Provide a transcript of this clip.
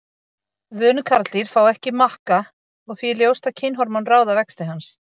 Vönuð karldýr fá ekki makka og því er ljóst að kynhormón ráða vexti hans.